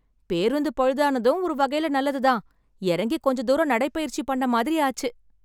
பேருந்து பழுதானதும் ஒரு வகைல நல்லது தான், இறங்கி கொஞ்ச தூரம் நடைப்பயிற்சி பண்ண மாதிரி ஆச்சு.